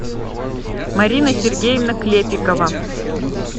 марина сергеевна клепикова